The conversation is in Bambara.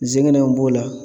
Nsɛgɛnɛw b'o la.